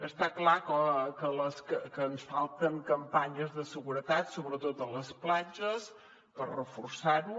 està clar que ens falten campanyes de seguretat sobretot a les platges per reforçar ho